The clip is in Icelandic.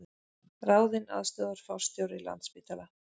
Ráðinn aðstoðarforstjóri Landspítala